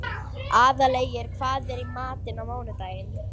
Aðalgeir, hvað er í matinn á mánudaginn?